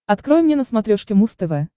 открой мне на смотрешке муз тв